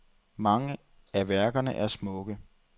Mange af værkerne er smukke.